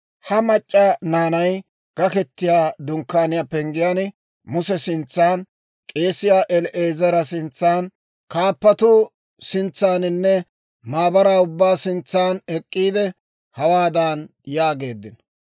Ha mac'c'a naanay Gaketiyaa Dunkkaaniyaa penggiyaan Muse sintsan, k'eesiyaa El"aazara sintsan, kaappatuu sintsaaninne maabaraa ubbaa sintsan ek'k'iide, hawaadan yaageeddino;